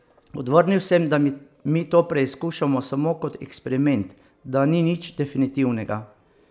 Odvrnil sem, da mi to preizkušamo samo kot eksperiment, da ni nič definitivnega.